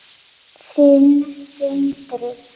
Þinn, Sindri.